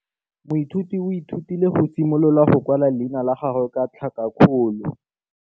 Moithuti o ithutile go simolola go kwala leina la gagwe ka tlhakakgolo.